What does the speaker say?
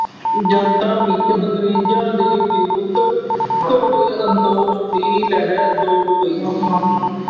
ਜਨਤਾ ਵਿੱਚ ਅੰਗਰੇਗ਼ਾਂ ਦੇ ਵਿਰੁੱਧ ਘੋਰ ਸੰਤੋਸ਼ ਦੀ ਲਹਿਰ ਦੌੜ ਪਈ।